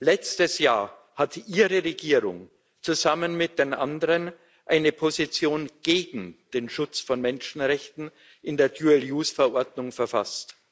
Letztes Jahr hatte Ihre Regierung zusammen mit den anderen eine Position gegen den Schutz von Menschenrechten in der Verordnung verfasst.